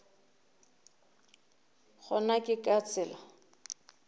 le gona ke ka tsela